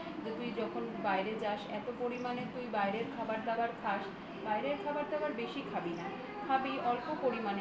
তুই যখন বাইরে যাস এত পরিমানে তুই বাইরের খাবার দাবার খাস বাইরের খাবার-দাবার বেশি খাবি না। খাবি অল্প পরিমাণে